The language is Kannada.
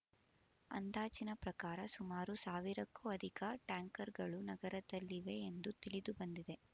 ಅಂದಾಜಿನ ಪ್ರಕಾರ ಸುಮಾರು ಸಾವಿರಕ್ಕೂ ಅಧಿಕ ಟ್ಯಾಂಕರ್‌ಗಳು ನಗರದಲ್ಲಿವೆ ಎಂದು ತಿಳಿದುಬಂದಿದೆ